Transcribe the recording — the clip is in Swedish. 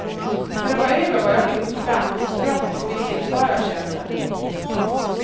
När det var över var jag utbränd, trött och visste inte vad jag kände.